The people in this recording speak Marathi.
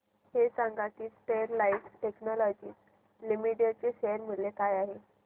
हे सांगा की स्टरलाइट टेक्नोलॉजीज लिमिटेड चे शेअर मूल्य काय आहे